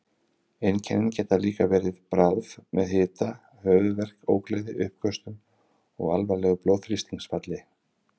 Einkennin geta líka verið bráð með hita, höfuðverk, ógleði, uppköstum og alvarlegu blóðþrýstingsfalli.